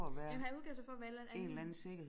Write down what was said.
Jamen han udgav sig for at være en eller anden anden